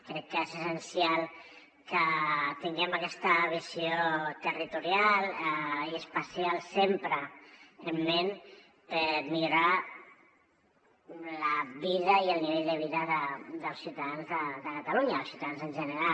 crec que és essencial que tinguem aquesta visió territorial i espacial sempre en ment per millorar la vida i el nivell de vida dels ciutadans de catalunya els ciutadans en general